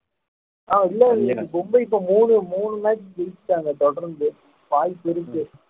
ஆஹ் இல்லை எனக்கு மும்பை இப்போ மூணு மூணு match ஜெயிச்சிட்டாங்க தொடர்ந்து வாய்ப்பு இருக்கு